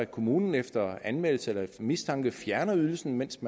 kommunen efter anmeldelse eller mistanke fjerner ydelsen mens